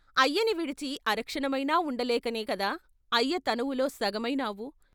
అయ్యని విడిచి అరక్షణమైనా ఉండలేకనే కదా అయ్యతనువులో సగమై నావు.